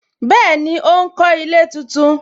Bẹẹni, ó ń kọ ilé tuntun